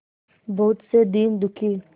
बहुत से दीन दुखी